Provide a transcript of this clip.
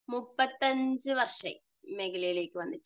35 വർഷമായി ഈ മേഖലയിലേയ്ക്ക് വന്നിട്ട്.